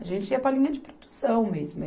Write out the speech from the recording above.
A gente ia para a linha de produção mesmo.